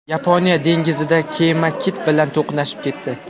Yaponiya dengizida kema kit bilan to‘qnashib ketdi.